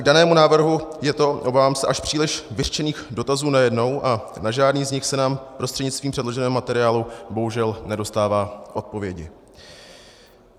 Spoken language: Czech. K danému návrhu je to, obávám se, až příliš vyřčených dotazů najednou a na žádný z nich se nám prostřednictvím předloženého materiálu bohužel nedostává odpovědi.